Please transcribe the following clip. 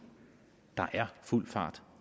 der er fuld fart